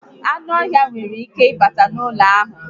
Ánụ́ ọhịa nwèrè ike ịbata n'ụlọ a